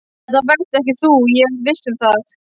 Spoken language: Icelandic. Þetta varst ekki þú, ég er viss um það.